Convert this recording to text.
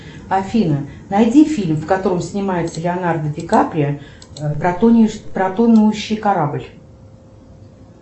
афина найди фильм в котором снимался леонардо ди каприо про тонущий корабль